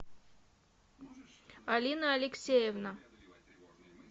алина алексеевна